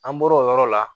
An bɔr'o yɔrɔ la